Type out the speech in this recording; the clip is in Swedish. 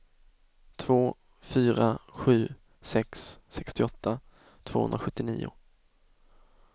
två fyra sju sex sextioåtta tvåhundrasjuttionio